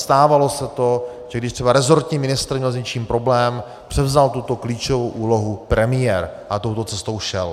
Stávalo se to, že když třeba resortní ministr měl s něčím problém, převzal tuto klíčovou úlohu premiér a touto cestou šel.